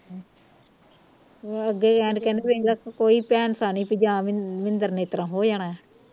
ਅੱਗੇ ਕਹਿਣ ਦਏ ਵੇਖਲਾ ਕੋਈ ਨਹੀ ਜਾ ਮਿੰਦਰ ਨੇ ਇਸ ਤਰ੍ਹਾਂ ਹੋ ਜਾਣਾ